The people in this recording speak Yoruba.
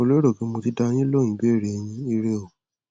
mo lérò pé mo ti dá a yín lóhun ìbéèrè yín ire o